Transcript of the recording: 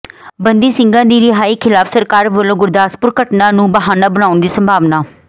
ਬੰਦੀ ਸਿੰਘਾਂ ਦੀ ਰਿਹਾਈ ਖਿਲਾਫ ਸਰਕਾਰ ਵੱਲੋਂ ਗੁਰਦਾਸਪੁਰ ਘਟਨਾ ਨੂੰ ਬਹਾਨਾ ਬਣਾਉਣ ਦੀ ਸੰਭਾਵਨਾ